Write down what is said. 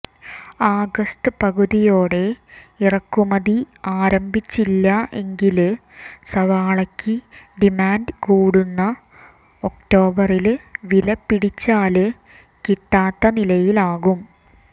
ആഗസ്ത് പകുതിയോടെ ഇറക്കുമതി ആരംഭിച്ചില്ല എങ്കില് സവാളയ്ക്ക് ഡിമാന്ഡ് കൂടുന്ന ഒക്ടോബറില് വില പിടിച്ചാല് കിട്ടാത്ത നിലയിലാകും